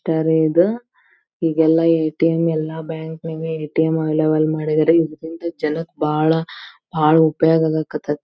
eight bank ATM ಅಂತ ಅಂದು ನೀಲಿ ಬೋರ್ಡ್ ವಳಗ್ ವೈಟ್ ಕಲರ ನ್ಯಾಗ್ ಬರದಾರ ಭಾರತೀಯ State Bank State Bank of India ಅಂತ ಅಂದ--